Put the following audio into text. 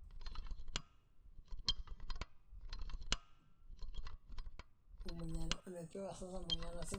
ilepie wuejitin eshumata nidol ajo keeta iwuejitin naashurie sidain na naata eseriani